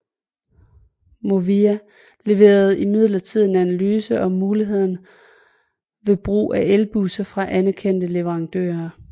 Movia leverede imidlertid en analyse om mulighederne ved brug af elbusser fra anerkendte leverandører